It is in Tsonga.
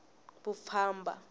vupfhumba